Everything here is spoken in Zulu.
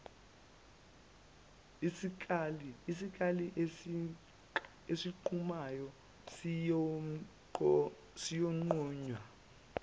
isikali esinqumayo siyonqunywa